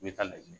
N bɛ taa laɲini